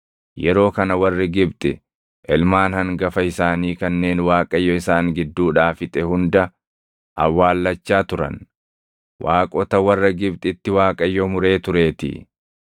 yeroo kana warri Gibxi ilmaan hangafa isaanii kanneen Waaqayyo isaan gidduudhaa fixe hunda awwaallachaa turan; waaqota warra Gibxitti Waaqayyo muree tureetii.